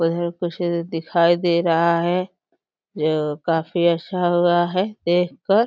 उधर कुछ दिखाई दे रहा है। यह काफी अच्छा लग रहा है देख कर।